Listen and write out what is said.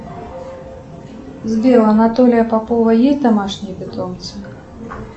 сбер у анатолия попова есть домашние питомцы